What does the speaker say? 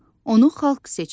Onu xalq seçib.